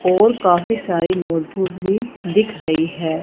और काफी सारी नोटबुक भी दिख रही है।